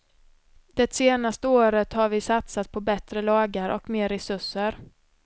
Det senaste året har vi satsat på bättre lagar och mer resurser.